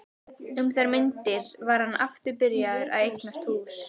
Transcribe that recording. Um þær mundir var hann aftur byrjaður að eignast hús.